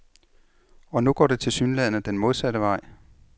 Og nu går det tilsyneladende den modsatte vej.